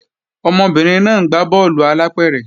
Ọmọbìnrin náà ń gbá bọ́ọ̀lù alápẹ̀rẹ̀